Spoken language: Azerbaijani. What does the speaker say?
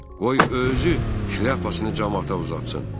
Qoy özü şlyapasını camaata uzatsın.